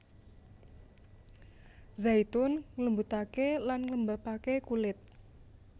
Zaitun nglembutaké lan nglembabaké kulit